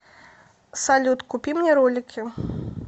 салют купи мне ролики